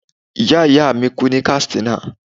Ìyá ìyá mi kú ní Katsina.